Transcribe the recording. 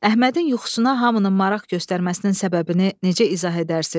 Əhmədin yuxusuna hamının maraq göstərməsinin səbəbini necə izah edərsiz?